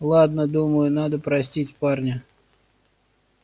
ладно думаю надо простить парня